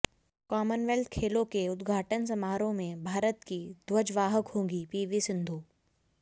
Commonwealth खेलों के उद्घाटन समारोह में भारत की ध्वजवाहक होंगी पीवी सिंधु